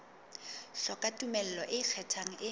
hloka tumello e ikgethang e